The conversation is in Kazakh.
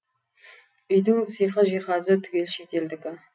үйдің сиқы жиһазы түгел шет елдікі